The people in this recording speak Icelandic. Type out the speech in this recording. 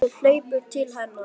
Bjössi hleypur til hennar.